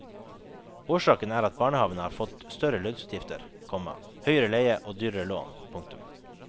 Årsaken er at barnehavene har fått større lønnsutgifter, komma høyere leie og dyrere lån. punktum